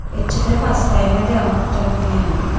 ecche teh pas time edeongte mui eyani.